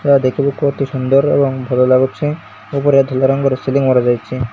ଏହା ଦେଖିବାକୁ ଅତି ସୁନ୍ଦର୍ ଓ ଭଲ ଲାଗୁଚି ଏବଂ ଧଳା ରଙ୍ଗର ସିଲିଂ ମରାଯାଇଚି।